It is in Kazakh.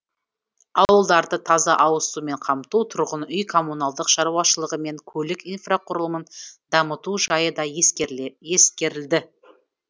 ауылдарды таза ауызсумен қамту тұрғын үй коммуналдық шаруашылығы мен көлік инфрақұрылымын дамыту жайы да ескерілді